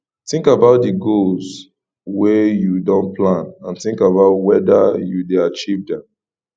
think about di goals wey you don plan and think about weda you dey achieve dem